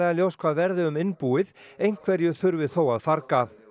ljóst hvað verði um innbúið einhverju þurfi þó að farga